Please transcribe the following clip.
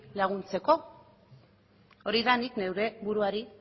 laguntzeko hori da nik neure buruari